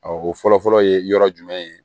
o fɔlɔfɔlɔ ye yɔrɔ jumɛn ye